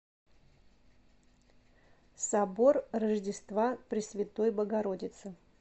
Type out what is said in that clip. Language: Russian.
собор рождества пресвятой богородицы